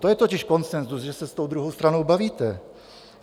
To je totiž konsenzus, že se s tou druhou stranou bavíte.